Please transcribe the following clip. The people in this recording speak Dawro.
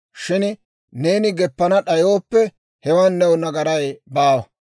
Shin neeni geppana d'ayooppe, hewan new nagaray baawa.